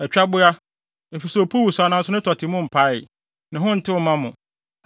Atwaboa, efisɛ opuw wosaw nanso ne tɔte mu mpae; ne ho ntew mma mo.